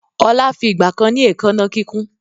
Ọlá fi ìgbàkan ni èékánná kíkún